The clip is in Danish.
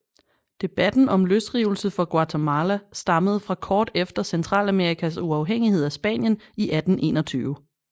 Debatten om løsrivelse fra Guatemala stammede fra kort efter Centralamerikas uafhængighed af Spanien i 1821